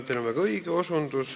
Teil on väga õige osutus.